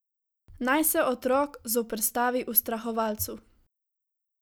Naj se otrok zoperstavi ustrahovalcu.